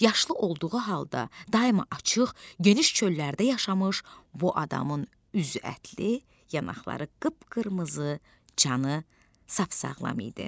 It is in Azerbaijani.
Yaşlı olduğu halda daima açıq geniş çöllərdə yaşamış bu adamın üzü ətli, yanaqları qıpqırmızı, canı sap sağlam idi.